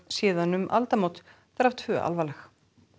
síðan um aldamót þar af tvö alvarleg